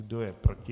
Kdo je proti?